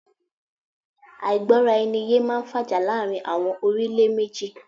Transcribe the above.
Àìgbọ́ra ẹni yé máá ń fàjà láàrin àwọn orílẹ̀ méjì